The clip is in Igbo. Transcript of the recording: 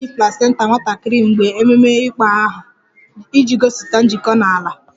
A na-eli placenta nwatakịrị mgbe ememe ịkpọ aha iji gosipụta njikọ na ala